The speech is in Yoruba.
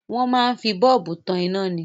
Wọn máa ń fi bọ́ọ̀bù tan ina ni.